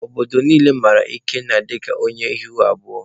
Obodo niile mara Ikenna dịka onye ihu abụọ.